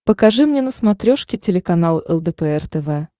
покажи мне на смотрешке телеканал лдпр тв